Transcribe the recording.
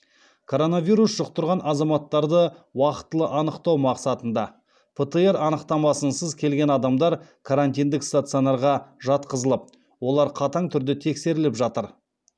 коронавирус жұқтырған азаматтарды уақтылы анықтау мақсатында птр анықтамасынсыз келген адамдар карантиндік стационарға жатқызылып олар қатаң түрде тексеріліп жатыр